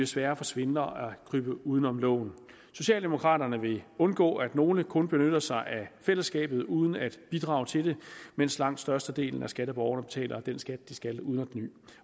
sværere for svindlere at krybe uden om loven socialdemokraterne vil undgå at nogle kun benytter sig af fællesskabet uden at bidrage til det mens langt størstedelen af skatteborgerne betaler den skat de skal betale uden at kny